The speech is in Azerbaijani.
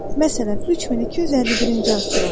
Məsələn, 3251-ci asteroid.